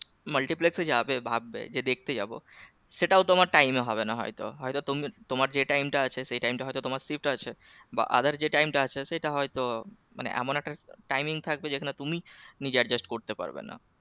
Multiplex এ যাবে ভাববে যে দেখতে যাব সেটাও তোমার time এ হবে না হয়তো হয়তো তুমি তোমার যে time টা আছে সে time টা হয়তো তোমার shift আছে বা other যে time টা আছে সেটা হয়তো মানে এমন একটা timing থাকবে যেখানে তুমি নিজে adjust করতে পারবে না